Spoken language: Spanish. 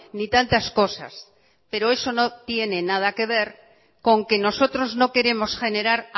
ni tantas cosas pero eso no tiene nada que ver con que nosotros no queremos generar